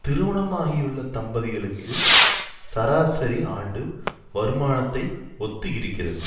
திருமணமாகியுள்ள தம்பதிகள்கி சராசரி ஆண்டு வருமனானத்தை ஒத்து இருக்கிறது